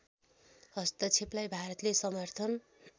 हस्तक्षेपलाई भारतले समर्थन